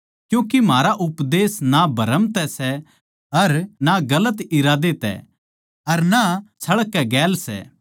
क्यूँके म्हारा उपदेश ना भ्रम तै सै अर ना गलत इरादे तै अर ना छळ कै गेल सै